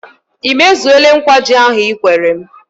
Ị mezuole nkwa ji ahụ Ị kwere m?